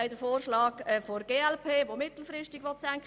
Die glp hat vorgeschlagen, diese mittelfristig zu senken.